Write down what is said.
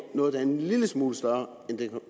noget der er en lille smule større